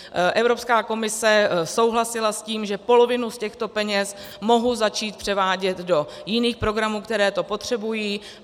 Evropská komise souhlasila s tím, že polovinu z těchto peněz mohu začít převádět do jiných programů, které to potřebují.